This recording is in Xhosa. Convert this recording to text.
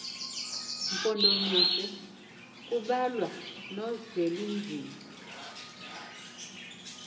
mpondomise kubalwa nozwelinzima